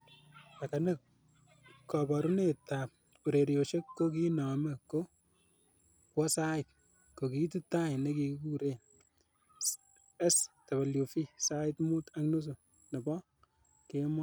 Lakini koborunet ab ureriosiek ko kiinome ko kokwo sait, ko kiitu tai nekiureren SWV sait Mut ak nusu nebo kemoi.